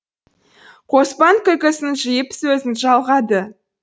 қоспан күлкісін жиып сөзін жалғады